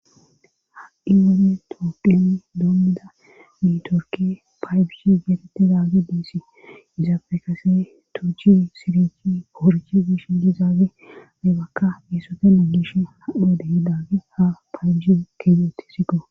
ha7i wane tooqiyani doommida mitorki paybishi getete daaggi diissi izaafe kase tuchi sirichi poorchi gish dizaage aybakka isotena gish hanode hi daagge ha paayju keedoti siqo